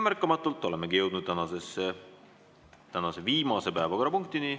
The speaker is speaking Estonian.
Märkamatult olemegi jõudnud tänase viimase päevakorrapunktini.